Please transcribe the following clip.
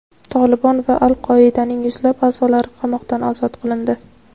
"Tolibon" va "Al-Qoida"ning yuzlab a’zolari qamoqdan ozod qilindi.